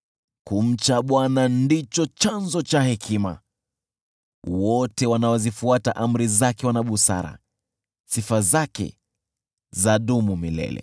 Kumcha Bwana ndicho chanzo cha hekima, wote wanaozifuata amri zake wana busara. Sifa zake zadumu milele.